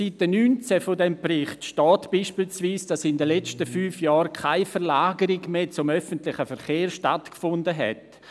Auf Seite 19 des Berichts steht zum Beispiel, dass in den vergangenen fünf Jahren keine Verlagerung hin zum öffentlichen Verkehr mehr stattgefunden hat.